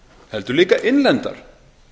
heldur líka innlendar